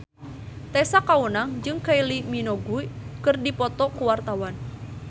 Tessa Kaunang jeung Kylie Minogue keur dipoto ku wartawan